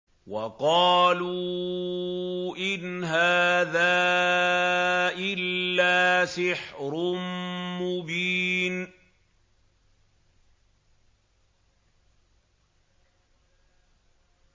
وَقَالُوا إِنْ هَٰذَا إِلَّا سِحْرٌ مُّبِينٌ